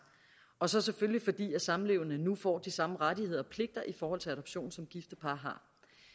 og så selvfølgelig fordi samlevende nu får de samme rettigheder og pligter i forhold til adoption som gifte par